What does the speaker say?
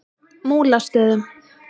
Múlastöðum